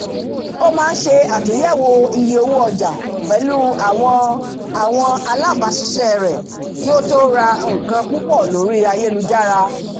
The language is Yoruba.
ó máa ń ṣe atúnyẹ̀wò iye owó ọjà pẹ̀lú àwọn àwọn alábáṣiṣẹ́ rẹ̀ kí ó tó rà nǹkan púpọ̀ lórí ayélujára